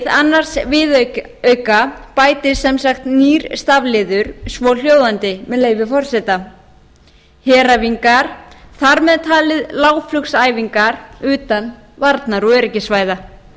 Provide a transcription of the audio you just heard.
annars viðauka bætist sem sagt nýr stafliður svohljóðandi með leyfi forseta heræfingar þar með taldar lágflugsæfingar utan varnar og öryggissvæða líkt